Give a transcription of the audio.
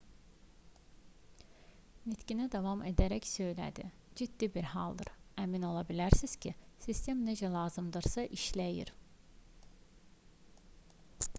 nitqinə davam edərək söylədi ciddi bir haldır əmin ola bilərsiniz ki sistem necə lazımdırsa işləyir